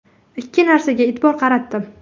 Ikki narsaga e’tibor qaratdim.